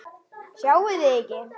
Sjáið þið ekki?